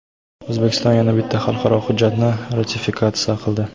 O‘zbekiston yana bitta xalqaro hujjatni ratifikatsiya qildi.